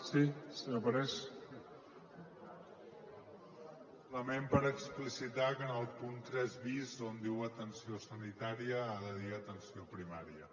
simplement per explicitar que en el punt tres bis on diu atenció sanitària ha de dir atenció primària